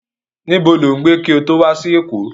Nibó lo ń gbé ki ó to wa si Eko?